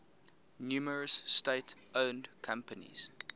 numerous state owned companies